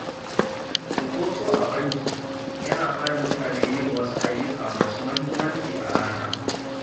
Cinkoso a banki yana hana mutane yin wasu ayyuka masu muhimmanci a rana.